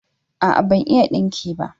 a'a ban iya dinki ba